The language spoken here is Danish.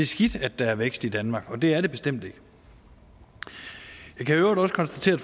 skidt at der er vækst i danmark og det er det bestemt ikke jeg kan i øvrigt også konstatere